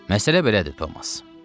Məsələ belədir Thomas.